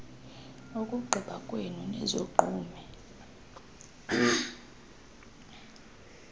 ukugqiba kwenu nizogqume